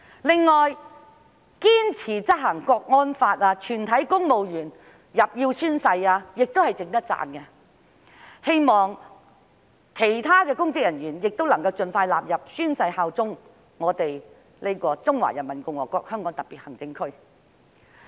另外，堅持執行《香港國安法》、全體公務員須宣誓的做法，亦是值得讚許的，我希望其他公職人員亦能盡快納入宣誓的範圍，效忠中華人民共和國香港特別行政區。